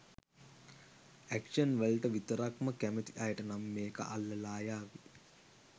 Action වලට විතරක්ම කැමති අයට නම් මේක අල්ලලා යාවි.